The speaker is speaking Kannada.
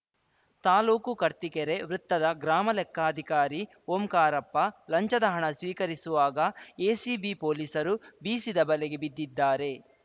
ತಾಲೂಕು ಕರ್ತಿಕೆರೆ ವೃತ್ತದ ಗ್ರಾಮ ಲೆಕ್ಕಾಧಿಕಾರಿ ಓಂಕಾರಪ್ಪ ಲಂಚದ ಹಣ ಸ್ವೀಕರಿಸುವಾಗ ಎಸಿಬಿ ಪೊಲೀಸರು ಬೀಸಿದ ಬಲೆಗೆ ಬಿದ್ದಿದ್ದಾರೆ